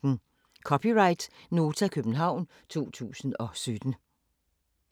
(c) Nota, København 2017